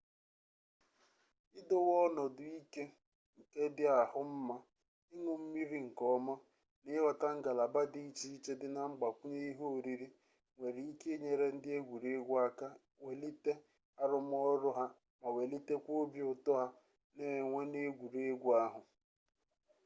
idowe ọnọdụ ike nke dị ahụ mma iñụ mmiri nke ọma na ịghọta ngalaba dị iche iche dị na mgbakwunye ihe oriri nwere ike inyere ndị egwuregwu aka iwelite arụmọrụ ha ma welitekwa obi ụtọ ha na-enwe n'egwuregwu ahụ